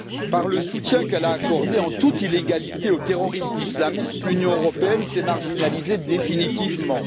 Par le soutien qu'elle a accordé, en toute illégalité, aux terroristes islamistes, l'Union européenne s'est marginalisée définitivement.